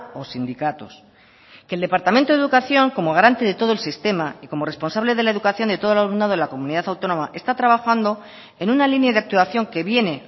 o sindicatos que el departamento de educación como garante de todo el sistema y como responsable de la educación de todo el alumnado de la comunidad autónoma está trabajando en una línea de actuación que viene